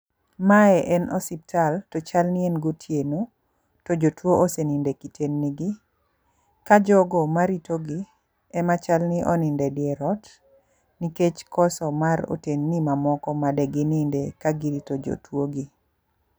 Mae en osiptal, to chal ni en gotieno to jotuo oseninde otendni gii, ka jogo maritogi, ema chal ni oninde dierot, nikech koso mag otendni mamoko ma degininde ka girito jotuogi.